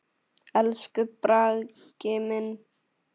Elsku Bragi minn.